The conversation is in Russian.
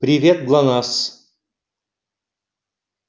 привет глонассс